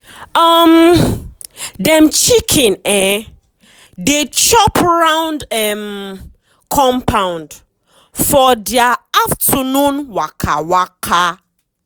um dem chicken um dey chop round um compound for dia afternoon waka waka.